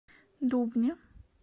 дубне